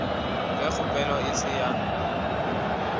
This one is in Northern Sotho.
ge kgopelo e se ya